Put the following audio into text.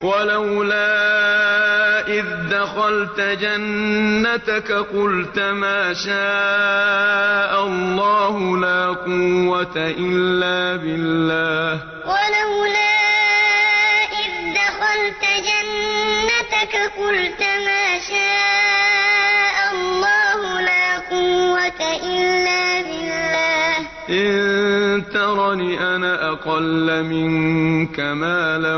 وَلَوْلَا إِذْ دَخَلْتَ جَنَّتَكَ قُلْتَ مَا شَاءَ اللَّهُ لَا قُوَّةَ إِلَّا بِاللَّهِ ۚ إِن تَرَنِ أَنَا أَقَلَّ مِنكَ مَالًا وَوَلَدًا وَلَوْلَا إِذْ دَخَلْتَ جَنَّتَكَ قُلْتَ مَا شَاءَ اللَّهُ لَا قُوَّةَ إِلَّا بِاللَّهِ ۚ إِن تَرَنِ أَنَا أَقَلَّ مِنكَ مَالًا